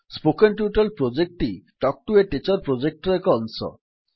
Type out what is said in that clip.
spoken tutorial ପ୍ରୋଜେକ୍ଟଟି talk to a teacher ପ୍ରୋଜେକ୍ଟର ଏକ ଅଂଶ